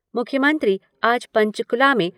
मुख्यमंत्री आज पंचकूला में